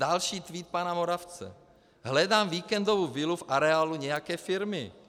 Další tweet pana Moravce: Hledám víkendovou vilu v areálu nějaké firmy.